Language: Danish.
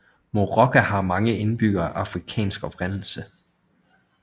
Moorooka har mange indbyggere af afrikansk oprindelse